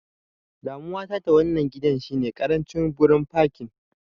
Damuwa ta da wannan gidan shine ƙarancin gurin fakin.